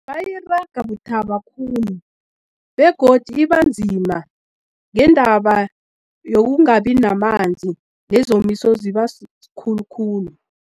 Bayiraga buthaba khulu begodu ibanzima ngendaba yokungabi namanzi, nezomiso ziba sikhulukhulu.